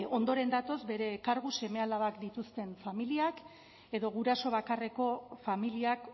ondoren datoz bere kargu seme alabak dituzten familiak edo guraso bakarreko familiak